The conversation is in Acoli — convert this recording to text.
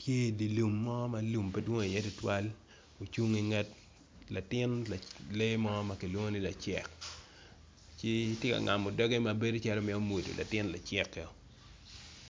tye idi lum mo ma lum pedwong iye tutwal ocung inget le mo makilwong ni lacek ci tye ka ngamo doge mabedo calo mito mwonyo latin lacek o.